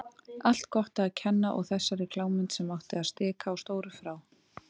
Allt Gotta að kenna og þessari klámmynd sem átti að stikla á stóru frá